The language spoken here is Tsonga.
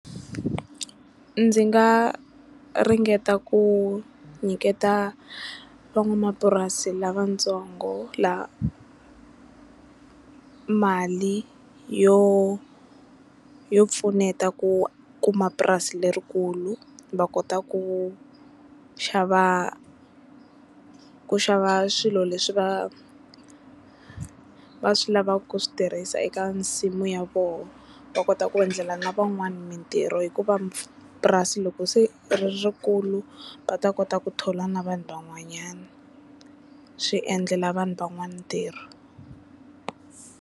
Ndzi nga ringeta ku nyiketa van'wamapurasi lavatsongo lava mali yo yo pfuneta ku kuma purasi lerikulu va kota ku xava ku xava swilo leswi va va swi lavaka ku swi tirhisa eka nsimu ya vona va kota ku endlela na van'wana mntirho hikuva purasi loko se riri rikulu va ta kota ku thola na vanhu van'wanyana swi endlela vanhu van'wana ntirho.